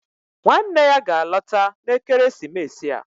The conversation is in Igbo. Nwanne ya ga-alọta ekeresimesi a